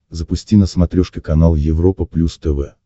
запусти на смотрешке канал европа плюс тв